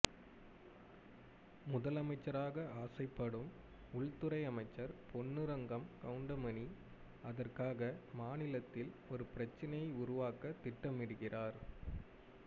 முதலமைச்சராக ஆசைப்படும் உள்துறை அமைச்சர் பொன்னுரங்கம் கவுண்டமணி அதற்காக மாநிலத்தில் ஒரு பிரச்சனையை உருவாக்கத் திட்டமிடுகிறார்